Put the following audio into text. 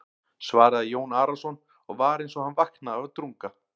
svaraði Jón Arason og var eins og hann vaknaði af drunga.